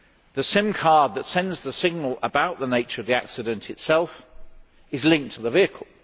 The SIM card that sends the signal about the nature of the accident itself is linked to the vehicle.